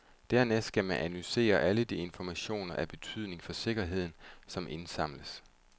Dernæst skal man analysere alle de informationer af betydning for sikkerheden, som indsamles.